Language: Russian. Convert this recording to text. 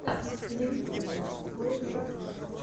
на ютюбе блэк айд пис